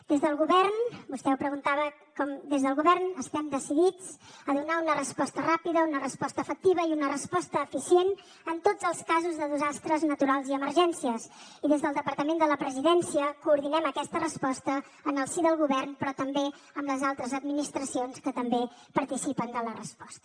des del govern vostè ho preguntava estem decidits a donar una resposta ràpida una resposta efectiva i una resposta eficient en tots els casos de desastres naturals i emergències i des del departament de la presidència coordinem aquesta resposta en el si del govern però també amb les altres administracions que també participen de la resposta